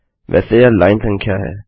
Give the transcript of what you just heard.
वैसे यह लाइन संख्या है